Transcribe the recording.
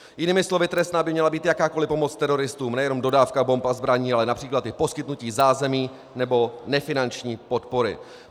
Jiným slovy trestná by měla být jakákoliv pomoc teroristům, nejenom dodávka bomb a zbraní, ale například i poskytnutí zázemí nebo nefinanční podpory.